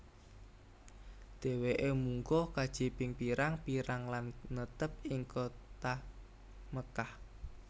Dheweke munggah kaji ping pirang pirang lan netep ing kutha Mekkah